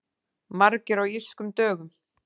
Margir á Írskum dögum